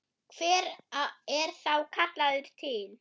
Hver er þá kallaður til?